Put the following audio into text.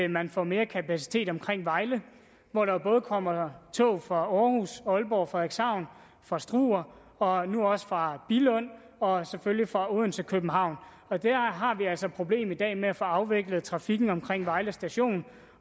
man får mere kapacitet omkring vejle hvor der jo både kommer tog fra århus ålborg frederikshavn fra struer og nu også fra billund og selvfølgelig fra odense københavn der har vi altså et problem i dag med at få afviklet trafikken omkring vejle station